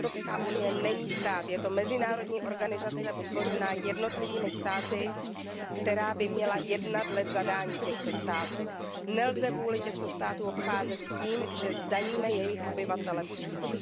Evropská unie není stát, je to mezinárodní organizace vytvořená jednotlivými státy, která by měla jednat dle zadání těchto států. Nelze vůli těchto států obcházet tím, že zdaníme jejich obyvatele přímo.